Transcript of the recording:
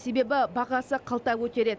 себебі бағасы қалта көтереді